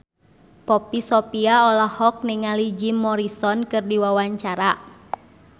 Poppy Sovia olohok ningali Jim Morrison keur diwawancara